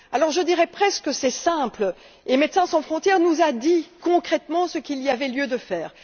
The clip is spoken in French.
Je dirais presque que c'est simple et Médecins sans frontières nous a dit concrètement ce qu'il y avait lieu de faire.